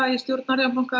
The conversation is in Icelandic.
í stjórn Arion banka